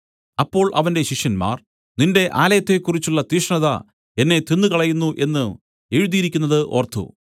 അപ്പോൾ അവന്റെ ശിഷ്യന്മാർ നിന്റെ ആലയത്തെക്കുറിച്ചുള്ള തീഷ്ണത എന്നെ തിന്നുകളയുന്നു എന്നു എഴുതിയിരിക്കുന്നത് ഓർത്തു